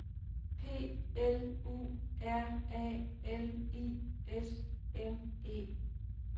P L U R A L I S M E